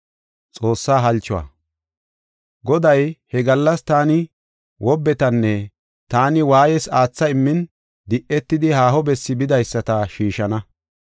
Goday, “He gallas taani wobbetanne taani waayees aatha immin, di7etidi haaho bessi bidaysata shiishana.